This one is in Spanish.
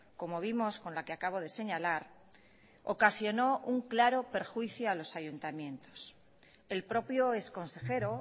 como vimos con la que acabo de señalar ocasionó un claro perjuicio a los ayuntamientos el propio ex consejero